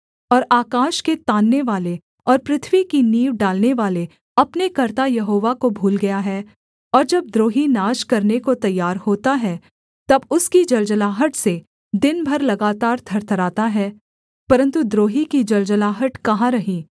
और आकाश के ताननेवाले और पृथ्वी की नींव डालनेवाले अपने कर्ता यहोवा को भूल गया है और जब द्रोही नाश करने को तैयार होता है तब उसकी जलजलाहट से दिन भर लगातार थरथराता है परन्तु द्रोही की जलजलाहट कहाँ रही